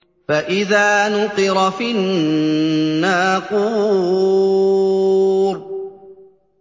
فَإِذَا نُقِرَ فِي النَّاقُورِ